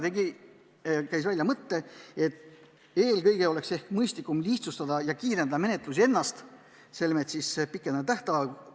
Ta käis välja mõtte, et eelkõige oleks vaja lihtsustada ja kiirendada menetlust ennast, selmet pikendada tähtaegasid.